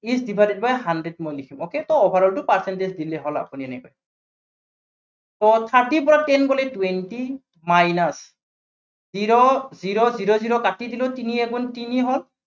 is divided by hundred মই লিখিম, okay ত' over all টো percentage দিলেই হল আপুনি এনেকৈ। ত' thirty ৰ পৰা ten গলে twenty minus zero, zero zero zero কাটি দিলো, তিনি এগুণ তিনি হল